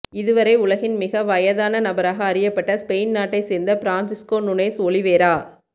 இதுவரை உலகில் மிக வயதான நபராக அறியப்பட்ட ஸ்பெயின் நாட்டை சேர்ந்த பிரான்சிஸ்க்கோ நுனேஸ் ஒலிவேரா